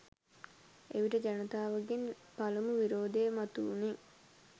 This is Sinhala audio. එවිට ජනතාවගෙන් පළමු විරෝධය මතුවුණේ